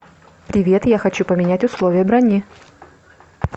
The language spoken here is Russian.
привет я хочу поменять условия брони